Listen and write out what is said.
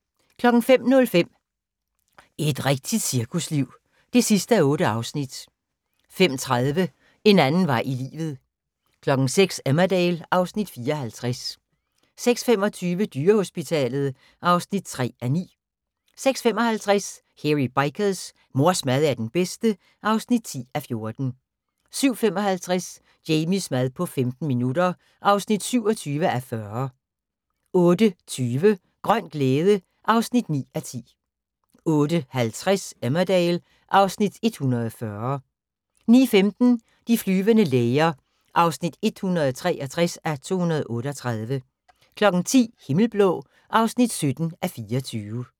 05:05: Et rigtigt cirkusliv (8:8) 05:30: En anden vej i livet 06:00: Emmerdale (Afs. 54) 06:25: Dyrehospitalet (3:9) 06:55: Hairy Bikers: Mors mad er den bedste (10:14) 07:55: Jamies mad på 15 minutter (27:40) 08:20: Grøn glæde (9:10) 08:50: Emmerdale (Afs. 140) 09:15: De flyvende læger (163:238) 10:00: Himmelblå (17:24)